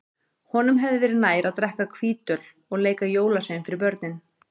Honum hefði verið nær að drekka hvítöl og leika jólasvein fyrir börnin.